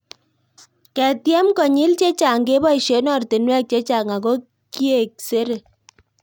Keketiemkonyil chechang' kepoishe oratinwek chechang' ako kiek sere